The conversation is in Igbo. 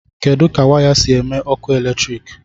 kedu ka waya si eme ọkụ eletrik